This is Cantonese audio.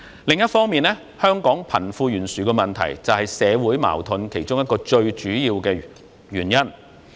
另一方面，香港貧富懸殊問題是社會矛盾的其中一個最主要原因。